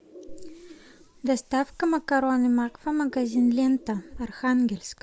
доставка макароны макфа магазин лента архангельск